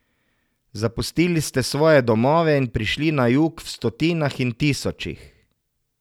Zapustili ste svoje domove in prišli na jug v stotinah in tisočih ...